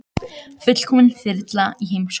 Fullkomin þyrla í heimsókn